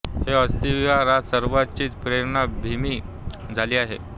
हे अस्थि विहार आज सर्वांचीच प्रेरणा भमि झाली आहे